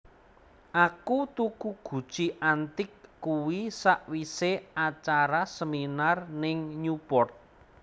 Aku tuku guci antik kuwi sakwise acara seminar ning Newport